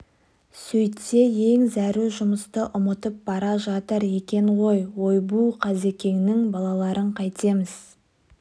сөйтсе ең зәру жұмысты ұмытып бара жатыр екен ғой ойбу қазекеңнің балаларын қайтеміз